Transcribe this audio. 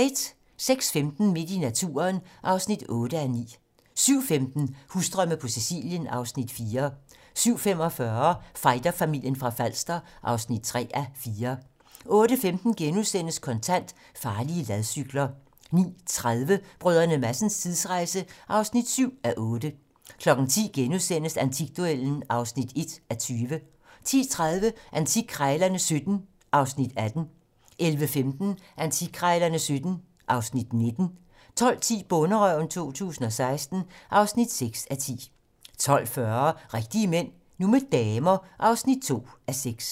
06:15: Midt i naturen (8:9) 07:15: Husdrømme på Sicilien (Afs. 4) 07:45: Fighterfamilien fra Falster (3:4) 08:15: Kontant: Farlige ladcykler * 09:30: Brdr. Madsens tidsrejse (7:8) 10:00: Antikduellen (1:20)* 10:30: Antikkrejlerne XVII (Afs. 18) 11:15: Antikkrejlerne XVII (Afs. 19) 12:10: Bonderøven 2016 (6:10) 12:40: Rigtige mænd - nu med damer (2:6)